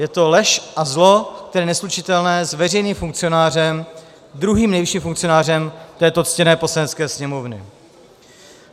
Je to lež a zlo, které je neslučitelné s veřejným funkcionářem, druhým nejvyšším funkcionářem této ctěné Poslanecké sněmovny.